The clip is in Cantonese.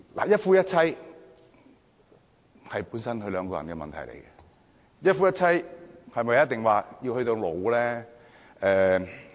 一夫一妻本來是夫妻兩個人的問題，一夫一妻是否一定要走到老？